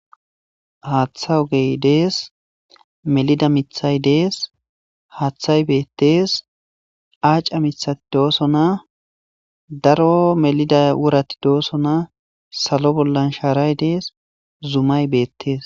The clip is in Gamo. Hatha ogey Des, melida mithat Des,hathay betes aca mithat dosona,daro melida worat dosona,salo bollan sharay Des zumay betes .